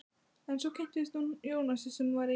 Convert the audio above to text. En svo kynntist hún Jónasi sem var í